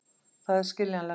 Það er skiljanlegt.